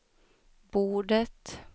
bordet